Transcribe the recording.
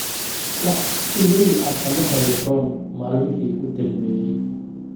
wax iimayl ah kama helin ron maalmihii u dambeeyay